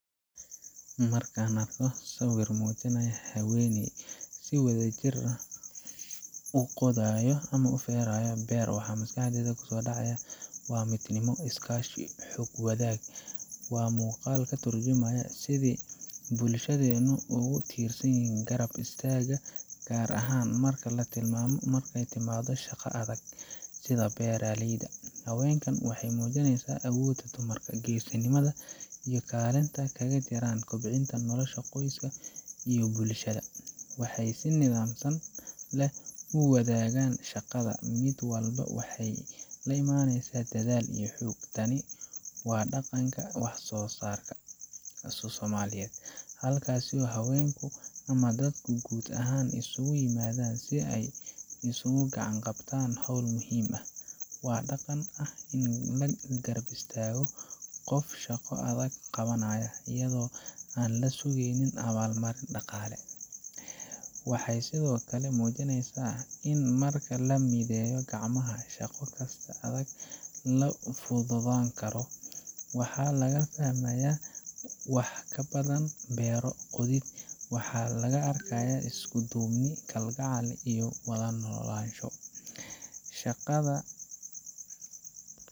Marka aan arko sawir muujinaya haween si wadajir ah u qodayo ama u feeraya beer, waxa maskaxdayda ku soo dhaca waa midnimo, iskaashi iyo xoog-wadaag. Waa muuqaal ka tarjumaya sidii bulshadeennu ugu tiirsanyihin garab istaagga, gaar ahaan marka ay timaado shaqo adag sida beeralayda. Haweenkan waxay muujinayaan awoodda dumarka, geesinimada iyo kaalinta ay kaga jiraan kobcinta nolosha qoyska iyo bulshada. Waxay si niyadsami leh u wadaagaan shaqada, mid walbana waxay la imaanaysaa dadaal iyo xoog. Tani waa dhaqanka ah wax soosarka oo Soomaaliyeed, halkaas oo haweenku ama dadku guud ahaan isugu yimaadaan si ay isugu gacan qabtaan howl muhiim ah. Waa dhaqan ah in la garab istaago qof shaqo adag qabanaya, iyadoo aan laga sugayn abaal marin dhaqaale. Waxay sidoo kale muujinayaan in marka la mideeyo gacmaha, shaqo kasta oo adag la fududaan karo. Waxaa laga fahmayaa wax ka badan beero qodid waxaa laga arkaa isku duubni, kalgacal iyo wada noolaansho Shaqada